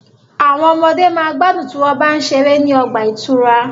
Àwọn ọmọde ma gbádùn tí wọ́n bá ń ṣeré ní ọgbà ìtura.